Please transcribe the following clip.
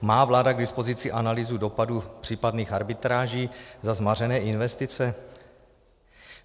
Má vláda k dispozici analýzu dopadů případných arbitráží za zmařené investice?